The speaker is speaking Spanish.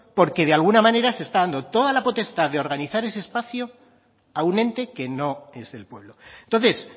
porque de alguna manera se está dando toda la potestad de organizar ese espacio a un ente que no es del pueblo entonces